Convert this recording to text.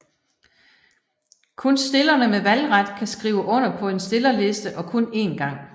Kun stillerne med valgret kan skrive under på en stillerliste og kun én gang